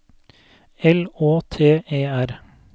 L Å T E R